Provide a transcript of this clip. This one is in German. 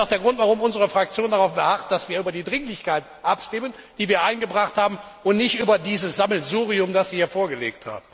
Das ist auch der Grund, warum unsere Fraktion darauf beharrt, dass wir über die Dringlichkeit abstimmen, die wir beantragt haben, und nicht über dieses Sammelsurium, das Sie hier vorgelegt haben.